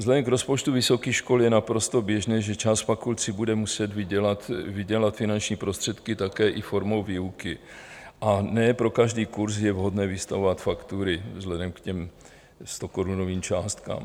Vzhledem k rozpočtu vysokých škol je naprosto běžné, že část fakult si bude muset vydělat finanční prostředky také i formou výuky, a ne pro každý kurz je vhodné vystavovat faktury vzhledem k těm stokorunovým částkám.